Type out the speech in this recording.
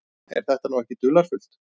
Er þetta nú ekki dularfullt?